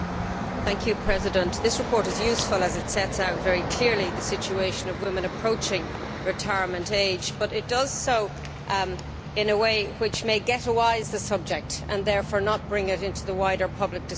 Mr President, this report is useful as it sets out very clearly the situation of women approaching retirement age, but it does so in a way which may ghettoise the subject and therefore fail to bring it into the wider public discussion.